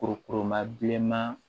Kurukuruma bilenman